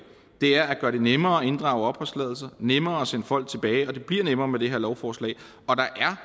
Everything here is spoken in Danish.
er at gøre det nemmere at inddrage opholdstilladelser nemmere at sende folk tilbage og det bliver nemmere med det her lovforslag og der er